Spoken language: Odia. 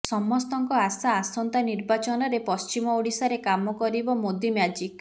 ସମସ୍ତଙ୍କ ଆଶା ଆସନ୍ତା ନିର୍ବାଚନରେ ପଶ୍ଚିମ ଓଡ଼ିଶାରେ କାମ କରିବ ମୋଦି ମ୍ୟାଜିକ୍